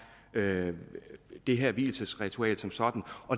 det det her vielsesritual som sådan